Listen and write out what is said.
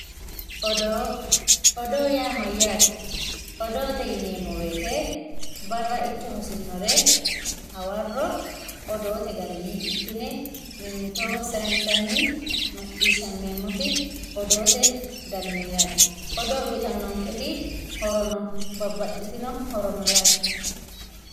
odoo odoo yaa mayaate odoote yineemo woyiite barra ikke hosinnore hawarro odoote garinni ikkine mimitoho sayiinsanni maciishammeemmoti odoote dani no yaate odoo uuyiitanonketi horo no babbaxitino horo no yaate